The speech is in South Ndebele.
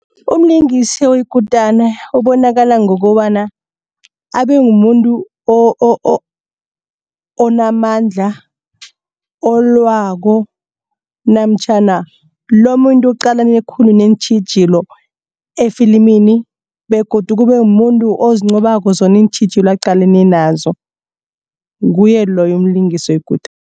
Umlingisi oyikutana ubonakala ngokobana abe muntu onamandla olwako namtjhana lomuntu oqalane khulu neentjhijilo efilimini begodu kube muntu ozinqobako zona iintjhijilo aqalene nazo kube nguye loyo umlingisi oyikutani.